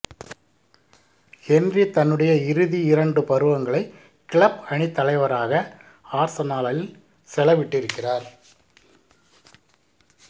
Henry தன்னுடைய இறுதி இரண்டு பருவங்களை கிளப் அணித்தலைவராக ஆர்சனாலில் செலவிட்டிருக்கிறார்